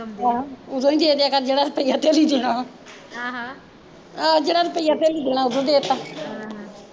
ਉਦੋਂ ਈ ਦੇ ਦਿਆ ਕਰ ਜਿਹੜਾ ਰੁਪਿਆ ਧੜੀ ਦੇਣਾ ਆਹ ਆਹੋ ਜਿਹੜਾ ਰੁਪਿਆ ਤੇਲੀ ਡੈਣਾਂ ਉਦੋਂ ਦੇਤਾਂ ਆਹ